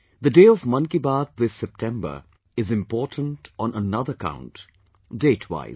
The day of Mann Ki Baat this September is important on another count, date wise